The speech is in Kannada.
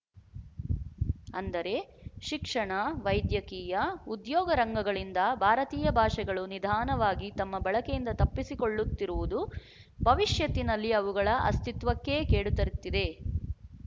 ಅಂದರೆ ಶಿಕ್ಷಣ ವೈದ್ಯಕೀಯ ಉದ್ಯೋಗ ರಂಗಗಳಿಂದ ಭಾರತೀಯ ಭಾಷೆಗಳು ನಿಧಾನವಾಗಿ ತಮ್ಮ ಬಳಕೆಯಿಂದ ತಪ್ಪಿಸಿಕೊಳ್ಳುತ್ತಿರುವುದು ಭವಿಶ್ಯತ್ತಿನಲ್ಲಿ ಅವುಗಳ ಅಸ್ತಿತ್ವಕ್ಕೇ ಕೇಡುತರುತ್ತಿದೆ